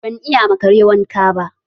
Ban iya ma Kare wanka ba